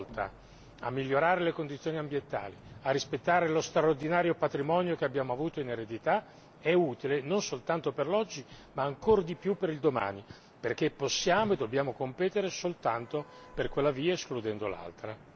Ecco perché ogni azione volta a migliorare le condizioni ambientali ed a rispettare lo straordinario patrimonio che abbiamo avuto in eredità è utile non soltanto per l'oggi, ma ancor di più per il domani, perché possiamo e dobbiamo competere soltanto per quella via, escludendo l'altra.